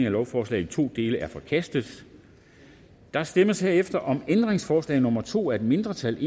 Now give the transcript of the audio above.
af lovforslaget i to dele er forkastet der stemmes herefter om ændringsforslag nummer to af et mindretal